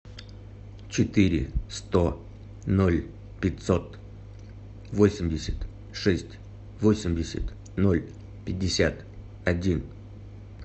четыре сто ноль пятьсот восемьдесят шесть восемьдесят ноль пятьдесят один